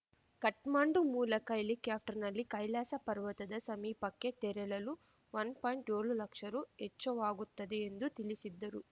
ಕಠ್ಮಂಡು ಮೂಲಕ ಹೆಲಿಕ್ಯಾಪ್ಟರ್‌ನಲ್ಲಿ ಕೈಲಾಸ ಪರ್ವತದ ಸಮೀಪಕ್ಕೆ ತೆರಳಲು ವನ್ ಪಾಯಿಂಟ್ಏಳು ಲಕ್ಷ ರೂ ವೆಚ್ಚವಾಗುತ್ತದೆ ಎಂದು ತಿಳಿಸಿದ್ದರು